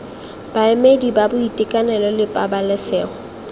baemedi ba boitekanelo le pabalesego